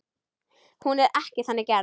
Hún er ekki þannig gerð.